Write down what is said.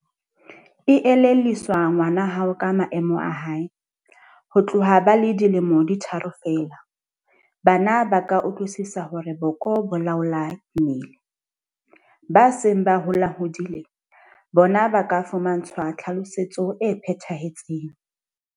Elellwisa ngwana hao ka maemo a hae. Ho tloha ba le dilemo di tharo feela, bana ba ka utlwisisa hore boko bo laola mmele. Ba seng ba holahodile bona ba ka fumantshwa tlhalosetso e phethahetseng.